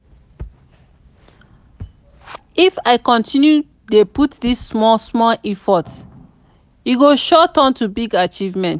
if i continue dey put this small small effort e go sure turn to big achievement.